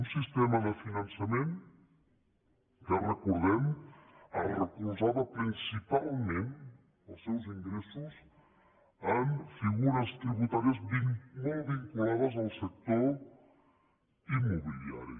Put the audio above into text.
un sistema de finançament que recordem es recolzava principalment els seus ingressos en figures tributàries molt vinculades al sector immobiliari